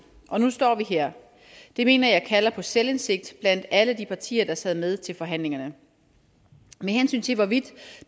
og nu står vi her det mener jeg kalder på selvindsigt blandt alle de partier der sad med til forhandlingerne med hensyn til hvorvidt